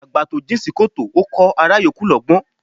Àgbà tó jìn sí kòtò, Ó kọh ará yòókù lọ́gbọ́n